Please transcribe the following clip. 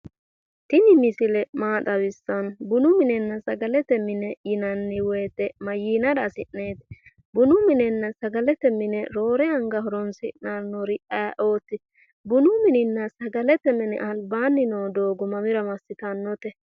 Tini misile maa xawissanno? bunu minenna sagalete mine yinanni woyite mayyiinara hasi'neeti? bunu minenna sagalete mine roore anga horonsidhannori ayeeooti? bunu mininna sagalete mini albaanni noo doogo mamira massitannote?